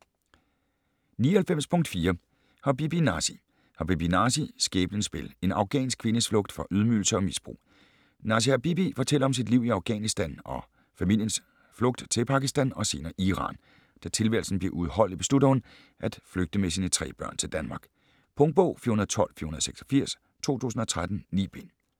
99.4 Habibi, Nasi Habibi, Nasi: Skæbnens spil: En afghansk kvindes flugt fra ydmygelser og misbrug Nasi Habibi fortæller om sit liv i Afghanistan og familiens flugten til Pakistan og senere Iran. Da tilværelsen bliver uudholdelig beslutter hun, at flygter med sine tre børn til Danmark. Punktbog 412486 2013. 9 bind.